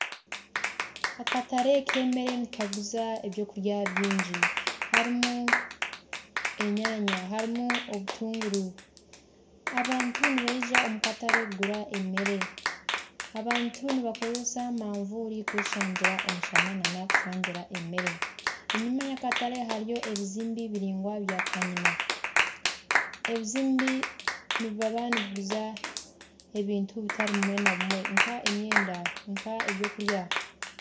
Akatare k'emeere nikaguza eby’okurya byingi harimu enyanya harimu obutuunguru abantu nibaija omu katare kugura emeere, abantu nibakoresa mavuuri kweshangira omushana na n'okushangira emeere, enyuma y'akatare hariyo ebizimbe biraingwa bya kanyina, ebizimbe nibaba nibaguza ebintu bitari bimwe na bimwe nka emyenda nka eby'okurya.